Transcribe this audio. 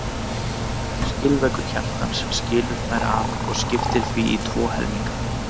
Skilveggur hjartans skilur þær að og skiptir því í tvo helminga.